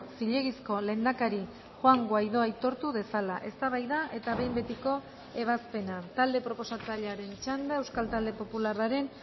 zilegizko lehendakari juan guaidó aitortu dezala eztabaida eta behin betiko ebazpena talde proposatzailearen txanda euskal talde popularraren